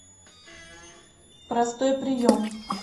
простой прием